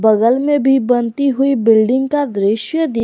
बगल में भी बनती हुई बिल्डिंग का दृश्य दी --